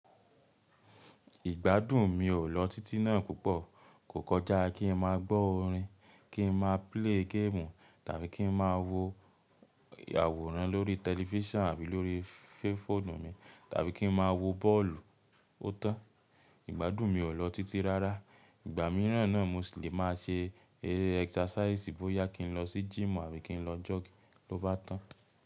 Ìgbádùn mi o lọ títí náà púpọ̀. Kò kọjá kí n máa gbọ́ orin, kí n máa play game tàbí kí n máa wo àwòrán lórí tẹlifísàn àbí lórí fẹ́fónù mi, tàbí kí n máa wo bọ́ọ̀lù. Ó tan, ìgbádùn mi o lọ títí rárá. Ìgbà mìíràn náà mo lè máa ṣe eré ẹksasàìsì bóyá kí n lọ sí gym àbí kí n lọ jogi ló bá tàn.